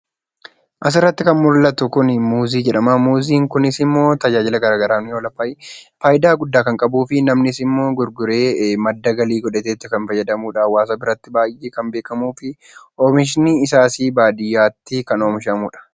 Asirratti kan mul'atu kun Muuzii jedhama. Muuziin kuns immoo tajaajila gara garaaf ni oola. Fayyidaa guddaa kan qabuufi namnis immoo gurguree madda galii vodhatee kan itti fayyadamudha. Hawaasa biratti baay'ee kan beekamuu fi oomishni isaas baadiyyaatti kan oomishamudha.